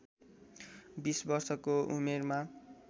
२० वर्षको उमेरमा